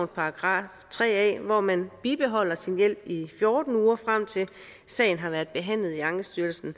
§ tre a hvor man bibeholder sin hjælp i fjorten uger frem til sagen har været behandlet i ankestyrelsen